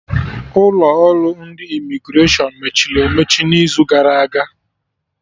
Ụlọ ọrụ ndị Imigreshọn mechiri emechi n'izu gara aga